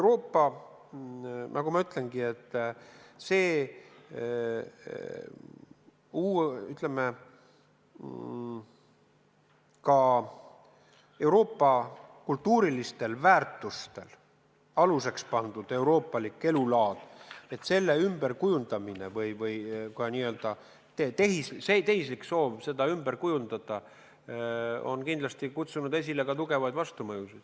See n-ö tehislik soov Euroopa kultuurilistel väärtustel põhinevat elulaadi ümber kujundada on kindlasti kutsunud esile tugevaid vastumõjusid.